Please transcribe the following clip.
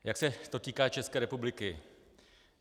Jak se to týká České republiky?